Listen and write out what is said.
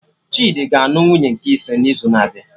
Chidi ga anụ nwunye nke ise n'izu na-abịa